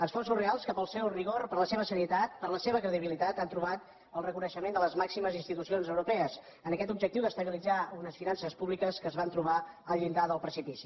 esforços reals que pel seu rigor per la seva serietat per la seva credibilitat han trobat el reconeixement de les màximes institucions europees en aquest objectiu d’estabilitzar unes finances públiques que es van trobar al llindar del precipici